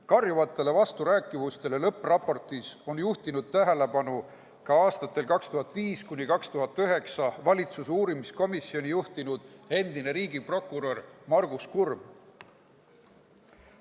Karjuvatele vasturääkivustele lõppraportis on juhtinud tähelepanu ka aastatel 2005–2009 valitsuse uurimiskomisjoni juhtinud endine riigiprokurör Margus Kurm.